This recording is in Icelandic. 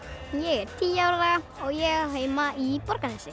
ég er tíu ára og ég á heima í Borgarnesi